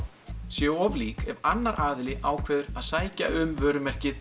séu of lík ef annar aðili ákveður að sækja um vörumerkið